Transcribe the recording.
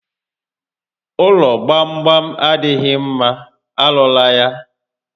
Ụlọ gbam gbam adịghị mma, arụla ya